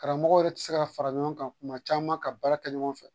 Karamɔgɔw yɛrɛ ti se ka fara ɲɔgɔn kan kuma caman ka baara kɛ ɲɔgɔn fɛ